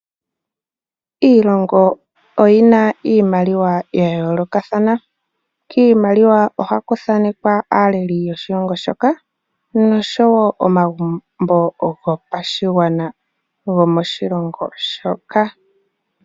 Iilongo oyina iimaliwa yayoolokathana . Kiimaliwa ohaku thanekwa aaleli yayoolokathana noshowoo omagumbo gopashigwana moshilongo shoka.